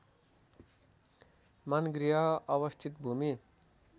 मानगृह अवस्थित भूमि